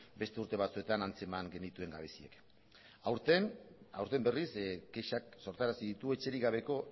beste urte batzuetan antzeman genituen gabeziak aurten berriz kexak sortarazi ditu etxerik gabeko